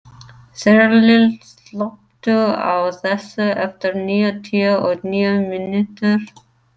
Þyrill, slökktu á þessu eftir níutíu og níu mínútur.